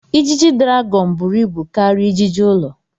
Ijiji dragọn buru ibu karịa ijiji ụlọ.